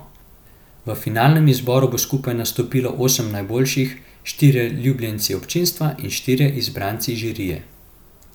V finalnem izboru bo skupaj nastopilo osem najboljših, štirje ljubljenci občinstva in štirje izbranci žirije.